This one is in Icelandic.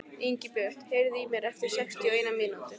Ingibjört, heyrðu í mér eftir sextíu og eina mínútur.